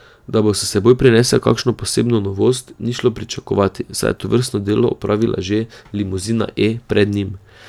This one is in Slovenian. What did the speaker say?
Da bo s seboj prinesel kakšno posebno novost, ni šlo pričakovati, saj je tovrstno delo opravila že limuzina E pred njim.